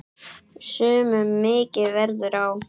Sumum mikið verður á.